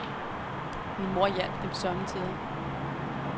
Min mor hjalp dem somme tider.